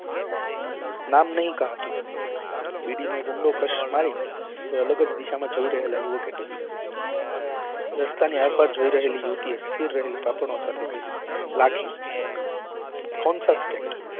નામ નહિ કહા તુમને બીડી નો એક ઊંડો ક્ષ મારી એ અલગ જ દિશા માં જોઈ રહેલા યુવકે કહ્યું રસ્તા ની આરપાર જોઈ રહેલી યુવતી એ સ્થિર રહેલી કહ્યું લાખી કોનસા